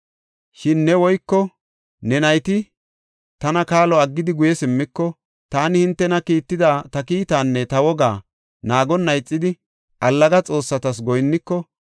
“Shin ne woyko ne nayti tana kaalo aggidi guye simmiko, taani hintena kiitida ta kiitaanne ta wogaa naagonna ixidi allaga xoossata goyinniko,